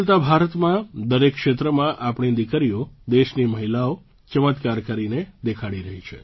બદલતા ભારતમાં દરેક ક્ષેત્રમાં આપણી દીકરીઓ દેશની મહિલાઓ ચમત્કાર કરીને દેખાડી રહી છે